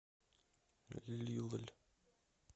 лилль